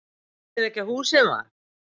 Eyðileggja húsið, mar!